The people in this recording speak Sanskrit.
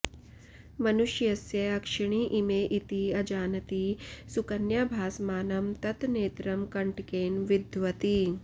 मनुष्यस्य अक्षिणी इमे इति अजानती सुकन्या भासमानं तत् नेत्रं कण्टकेन विद्धवती